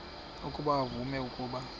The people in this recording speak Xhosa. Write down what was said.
ukuba uvume ukuba